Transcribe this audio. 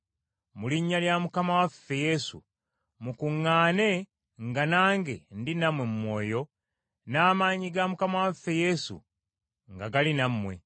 Mu linnya lya Mukama waffe Yesu, mukuŋŋaane nga nange ndi nammwe mu mwoyo n’amaanyi ga Mukama waffe Yesu nga gali nammwe.